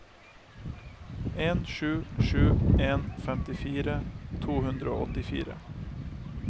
en sju sju en femtifire to hundre og åttifire